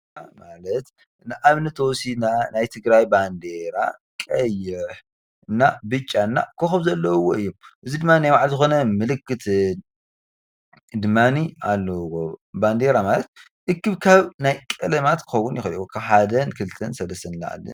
ባንዴራ ማለት ንኣብነት እንተወሲድና ናይ ትግራይ ባንዴራ ቀይሕ፣ እና ብጫ ወይኸዓ ከኾብ ዘለዎ እዮም። እዙይ ድማ ናይ ባዕሉ ምልክት ዘለዎ እዩ። ባንዴራ ማለት እክብካብ ናይ ቀለማት ክኸውን ይኽእል እዪ ካብ ሓደን ክልተን ሰለስተን ንላዕሊ።